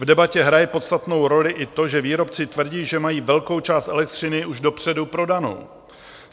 V debatě hraje podstatnou roli i to, že výrobci tvrdí, že mají velkou část elektřiny už dopředu prodanou.